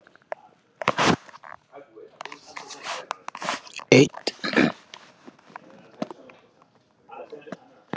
Kveðurðu landið, að minnsta kosti tímabundið, sátt?